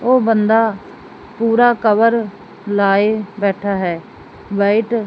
ਉਹ ਬੰਦਾ ਪੂਰਾ ਕਵਰ ਲਾਏ ਬੈਠਾ ਹੈ ਵਾਈਟ --